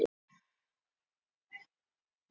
Á ég ríkan vandamann?